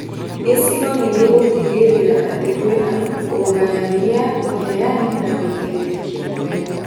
Gĩcigo nĩgĩgũtigĩrĩra atĩ kwĩna ũgayania, ũheani na ũigĩrĩrĩki mwega